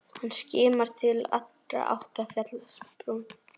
Hann skimar til allra átta af fjallsbrún.